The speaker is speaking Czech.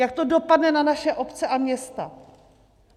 Jak to dopadne na naše obce a města?